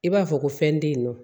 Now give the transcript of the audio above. I b'a fɔ ko fɛn tɛ yen nɔ